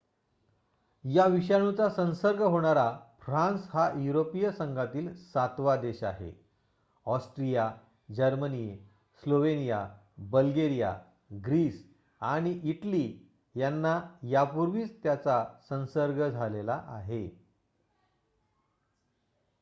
या विषाणूचा संसर्ग होणारा फ्रान्स हा युरोपिय संघातील सातवा देश आहे Austria Germany Slovenia Bulgaria Greece आणि इटली यांना यापूर्वीच त्याचा संसर्ग झाला आहे